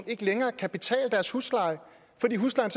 ikke længere kan betale deres husleje fordi huslejen